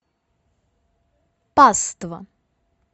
паства